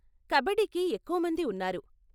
కబడ్డీకి ఎక్కువమంది ఉన్నారు.